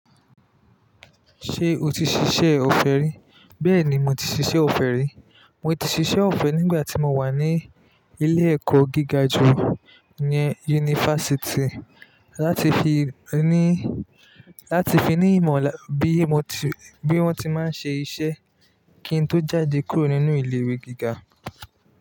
Ṣé o ti ṣiṣẹ́ ọ̀fẹ́ rí? Bẹ́ẹ̀ ni, mo ti ṣiṣẹ́ ọ̀fẹ́ rí. Mo ti ṣiṣẹ́ ọ̀fẹ́ nígbà tí mo wà ní ilé-ẹ̀kọ́ gíga ju, iyen yunifásítì, láti fi ní, láti fi ní ìmọ̀ bí mo ti, bí wón ti máa ń ṣe iṣẹ́ kí n tó jáde kúrò nínú ilé-ìwé gíga.